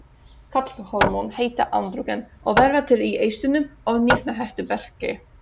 Karlhormón heita andrógen og verða til í eistunum og nýrnahettuberki.